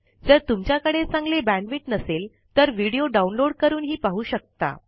जर तुमच्याकडे चांगली बॅण्डविड्थ नसेल तर व्हिडिओ डाउनलोड करून पाहू शकता